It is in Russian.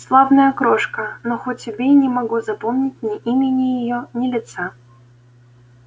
славная крошка но хоть убей не могу запомнить ни имени её ни лица